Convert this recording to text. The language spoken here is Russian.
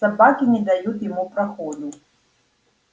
собаки не дают ему проходу